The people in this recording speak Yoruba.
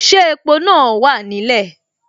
Ṣé epo náà wà nílẹ̀.